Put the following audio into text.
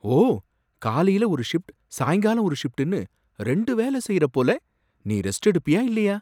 ஓ! காலைல ஒரு ஷிப்ட் சாயங்காலம் ஒரு ஷிப்ட்னு ரெண்டு வேலை செய்யற போல! நீ ரெஸ்ட் எடுப்பியா இல்லையா?